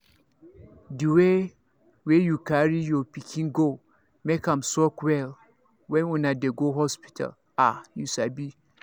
the way wey you carry your pikin go make am suck well when una dey go hospital ah you sabi